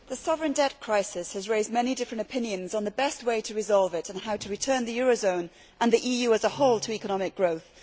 Mr President, the sovereign debt crisis has raised many different opinions on the best way to resolve it and how to return the eurozone and the EU as a whole to economic growth.